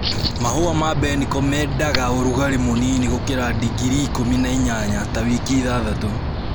Mahũa ma mbeniko mendaga ũrugarĩ mũnini gũkĩra digiri ikũmi na inyanya ta wiki ithathtatũ.